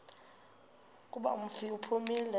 kuba umfi uphumile